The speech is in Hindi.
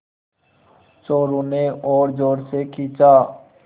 चोरु ने और ज़ोर से खींचा